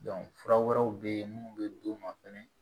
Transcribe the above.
fura wɛrɛw bɛ yen mun bɛ d'u ma fɛnɛ